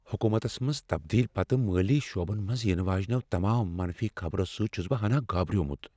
حکومتس منٛز تبدیلی پتہٕ مٲلی شعبن منز ینہٕ واجنیو تمام منفی خبرو سۭتۍ چھس بہٕ ہناہ گابریومُت۔